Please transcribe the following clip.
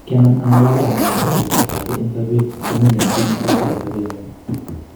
Kianam angalal amait ameto kasarta age en sopet komengen kit ne tesetai en sopengung.